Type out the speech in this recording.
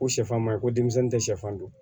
Ko sɛfan ma ye ko denmisɛn tɛ sɛfan dun